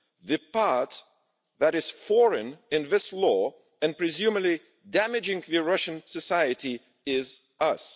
The part that is foreign' in this law, and presumably damaging to Russian society, is us.